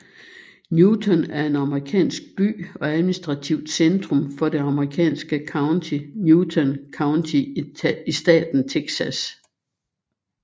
Newton er en amerikansk by og administrativt centrum for det amerikanske county Newton County i staten Texas